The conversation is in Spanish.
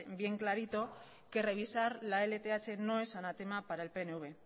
bien clarito que revisar la lth no es anatema para el pnv